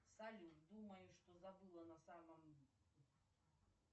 салют думаю что забыла на самом